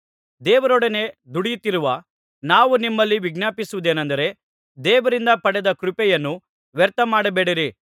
ದೇವರೊಡನೆ ದುಡಿಯುತ್ತಿರುವ ನಾವು ನಿಮ್ಮಲ್ಲಿ ವಿಜ್ಞಾಪಿಸುವುದೆನೆಂದರೆ ದೇವರಿಂದ ಪಡೆದ ಕೃಪೆಯನ್ನು ವ್ಯರ್ಥಮಾಡಬೇಡಿರಿ